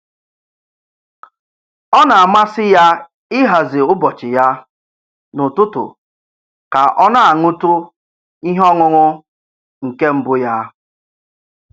Ọ na-amasị ya ịhazi ụbọchị ya n'ụtụtụ ka ọ na-aṅụtụ ihe ọṅụṅụ nke mbụ ya.